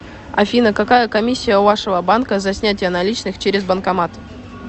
афина какая комиссия у вашего банка за снятие наличных через банкомат